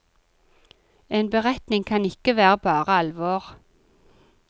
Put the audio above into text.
En beretning kan ikke være bare alvor.